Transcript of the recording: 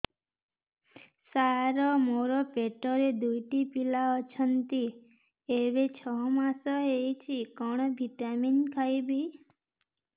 ସାର ମୋର ପେଟରେ ଦୁଇଟି ପିଲା ଅଛନ୍ତି ଏବେ ଛଅ ମାସ ହେଇଛି କଣ ଭିଟାମିନ ଖାଇବି